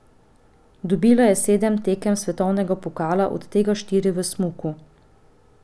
Dobila je sedem tekem svetovnega pokala, od tega štiri v smuku.